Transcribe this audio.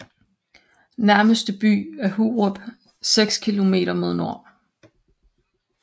Nærmeste by er Hurup 6 kilometer mod nord